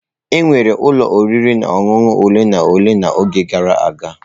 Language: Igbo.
Enwere ụlọ oriri na ọṅụṅụ ole na ole n'oge gara aga.